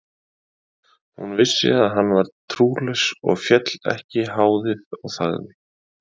Hún vissi að hann var trúlaus og féll ekki háðið og þagði.